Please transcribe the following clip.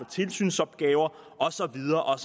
tilsynsopgaver og så videre og